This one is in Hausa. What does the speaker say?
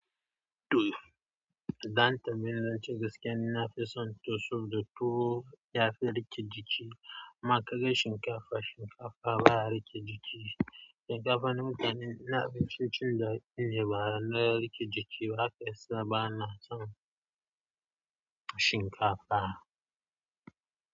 Da an tambayani zancen gaskiya, na fi son toso da tuwo ya fi rike ciki. Amma ka ga shinkafa, shinkafa baya rike jiki. Shinkafa na mutane na abincin cin gayune bana rike jiki ba haka yasa ba na son shinkafa.